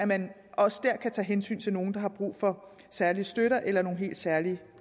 man også der kan tage hensyn til nogle der har brug for særlig støtte eller nogle helt særlige